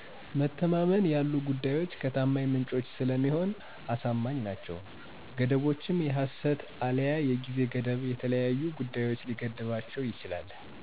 መተማመን ያሉ ጉዳዮች ከታማኛ ምንጭ ስለሚሆን አሳማኛ ናቸው። ገደቦችም የሰሀት አለያ የጊዜ ገደብ የተለያዩ ጉዳዮች ሊገድባቸው ይችላል።